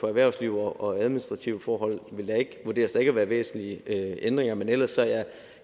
erhvervsliv og administrative forhold ikke vurderes at være væsentlige ændringer men ellers er jeg